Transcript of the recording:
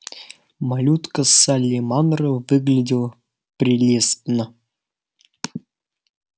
малютка салли манро выглядела прелестно